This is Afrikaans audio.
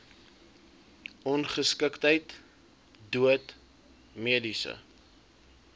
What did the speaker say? ongeskiktheid dood mediese